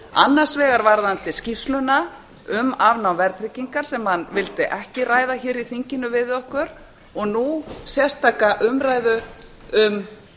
annars vegar varðandi skýrsluna um afnám verðtryggingar sem hann vildi ekki ræða hér í þinginu við okkur og nú sérstaka umræðu um